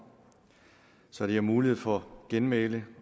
så de har mulighed for genmæle